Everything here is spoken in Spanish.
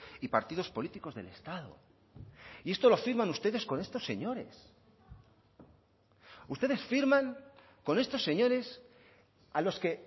y partidos políticos del estado y esto lo firman ustedes con estos señores ustedes firman con estos señores a los que